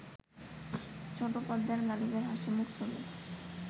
ছোট পর্দায় গালিবের হাসিমুখ ছবি